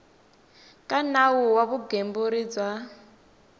ka nawu wa vugembuli bya